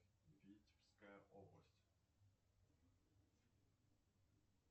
витебская область